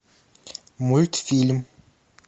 мультфильм